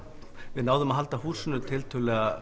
við náðum að halda húsinu tiltölulega